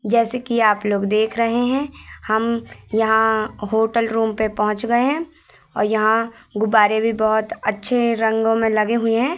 जैसे कि आप लोग देख रहे हैं हम यहां होटल रूम पे पहोंच गए हैं और यहां गुब्बारे भी बहोत अच्छे रंगों में लगे हुए हैं।